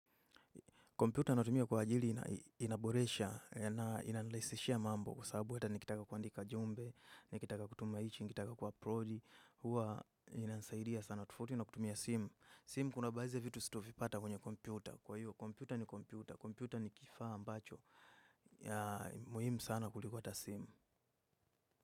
Kompyuta natumia kwa ajili inaboresha na inanirahisishia mambo kwa sababu hata nikitaka kuandika jumbe, nikitaka kutuma hichi, nikitaka ku upload huwa inasaidia sana tofauti na kutumia simu. Simu kuna baadhi ya vitu sitovipata kwenye kompyuta. Kwa hiyo, kompyuta ni kompyuta. Kompyuta ni kifaa ambacho. Muhimu sana kuliko hata simu.